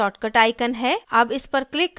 अब इस पर click करते हैं